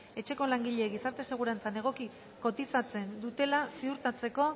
etxeko langileek gizarte segurantzan egoki kotizatzen dutela ziurtatzeko